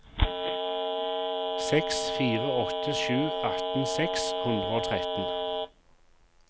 seks fire åtte sju atten seks hundre og tretten